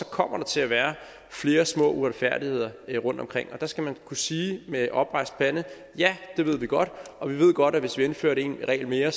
kommer til at være flere små uretfærdigheder rundt omkring og der skal man kunne sige med oprejst pande ja det ved vi godt og vi ved godt at hvis vi indførte en regel mere